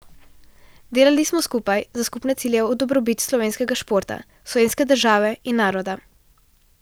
Delali smo skupaj, za skupne cilje v dobrobit slovenskega športa, slovenske države in naroda.